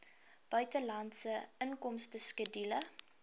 buitelandse inkomste skedule